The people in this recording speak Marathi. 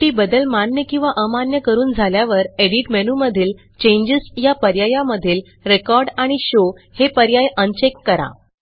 शेवटी बदल मान्य किंवा अमान्य करून झाल्यावर एडिट मेनूमधील चेंजेस या पर्यायामधील रेकॉर्ड आणि शो हे पर्याय अनचेक करा